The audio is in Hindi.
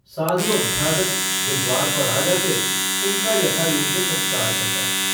साधु-अभ्यागत जो द्वार पर आ जा, उनका यथायोग्य सत्कार करता।